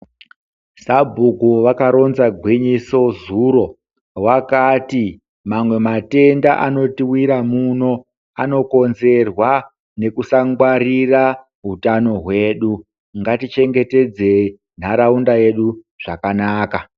Sabhuku vakaronza gwinyiso zuro vakati amwe matenda anotiwira muno anokonzerwa nekusangwarira utano hwedu, ngatichengetedze nharaunda yedu zvakanaka.